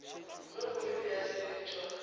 ge go le bjalo letšwa